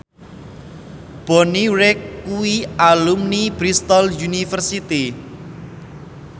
Bonnie Wright kuwi alumni Bristol university